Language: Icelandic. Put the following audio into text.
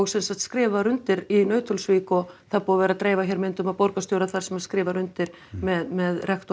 sem sagt skrifað var undir í Nauthólsvík og það er búið að vera að dreifa hér myndum af borgarstjóra þar sem hann skrifar undir með rektor